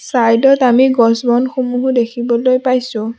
Side ত আমি গছ-বন সমূহো দেখিবলৈ পাইছোঁ।